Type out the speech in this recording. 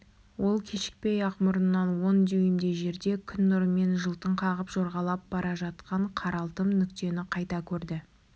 ол кешікпей-ақ мұрнынан он дюймдей жерде күн нұрымен жылтың қағып жорғалап бара жатқан қаралтым нүктені қайта көрді